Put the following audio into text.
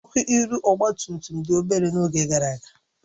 Ọkụ ihu ọgba tum tum dị obere n'oge gara aga